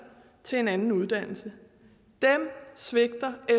til en anden uddannelse dem svigter